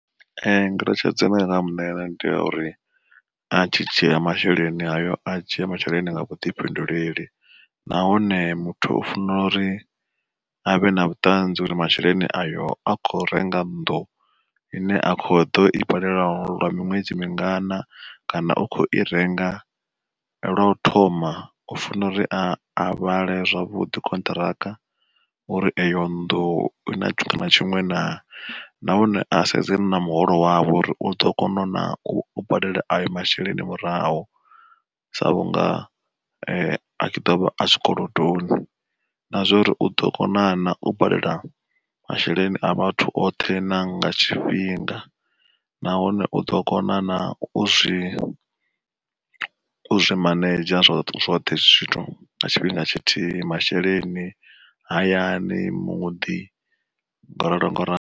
Ngeletshedzo ine nda nga muṋea yone ndi ya uri, a tshi dzhia masheleni hayo a dzhie masheleni nga vhuḓifhinduleli. Nahone muthu o fanela uri avhe na vhuṱanzi uri masheleni ayo a kho renga nnḓu ine a kho ḓo i badela lwa miṅwedzi mingana, kana u khou i renga lwa u thoma u fana uri a avhale zwavhuḓi contract, uri eyo nnḓu ina tshiṅwe na tshiṅwe nahone a sedzane na muholo wawe uri uḓo kona na u badela ayo masheleni murahu. Sa vhunga a tshi ḓovha a tshikolodoni, na zwa uri uḓo kona na u badela masheleni a vhathu oṱhe na nga tshifhinga, nahone u ḓo kona na u zwi zwi manenzha zwo zwoṱhe hezwi zwithu nga tshifhinga tshithihi masheleni, hayani muḓi ngo ralo ngo ralo.